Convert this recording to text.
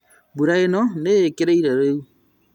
Mbura ĩno nĩĩkĩrĩrĩire rĩu